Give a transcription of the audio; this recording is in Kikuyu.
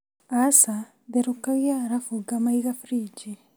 Aca therũkgia alafu ngamaiga friji